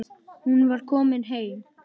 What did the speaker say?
Hún var komin heim.